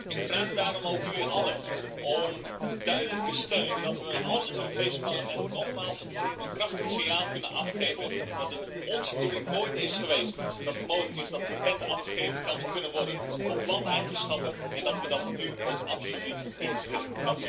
Ik vraag daarom ook jullie allen om duidelijke steun dat we als Europees Parlement nogmaals een krachtig signaal kunnen afgeven, dat het nooit onze bedoeling is geweest dat het mogelijk is dat patenten afgegeven kunnen worden op planteigenschappen en dat we dat nu ook absoluut niet willen.